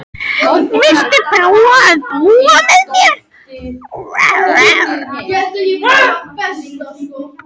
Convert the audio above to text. Viltu prófa að búa með mér.